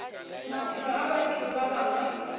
maphelo a batho ba bangwe